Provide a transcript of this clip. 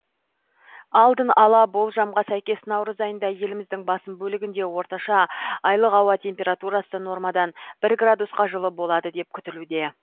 алдын ала болжамға сәйкес наурыз айында еліміздің басым бөлігінде орташа айлық ауа температурасы нормадан бір градусқа жылы болады деп күтілуде